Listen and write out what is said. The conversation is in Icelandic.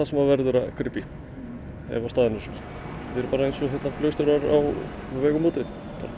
sem verður að grípa í ef staðan er svona við erum bara eins og flugstjórar á vegum úti